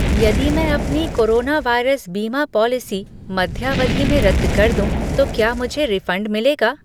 यदि मैं अपनी कोरोना वायरस बीमा पॉलिसी मध्यावधि में रद्द कर दूँ तो क्या मुझे रिफ़ंड मिलेगा?